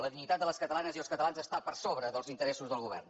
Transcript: la dignitat de les catalanes i els catalans està per sobre dels interessos del govern